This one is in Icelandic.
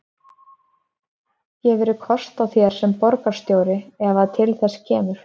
Gefurðu kost á þér sem borgarstjóri ef að til þess kemur?